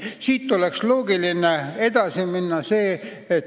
Siit oleks loogiline edasi minna.